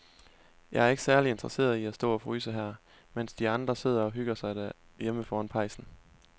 Jeg er ikke særlig interesseret i at stå og fryse her, mens de andre sidder og hygger sig derhjemme foran pejsen.